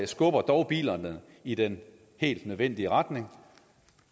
skubber dog bilerne i den helt nødvendige retning